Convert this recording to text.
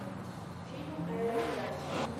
фильм аэроград